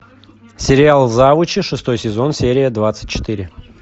сериал завучи шестой сезон серия двадцать четыре